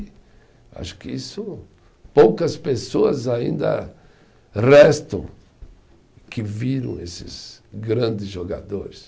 Acho que isso, poucas pessoas ainda restam que viram esses grandes jogadores.